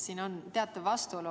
Siin on teatav vastuolu.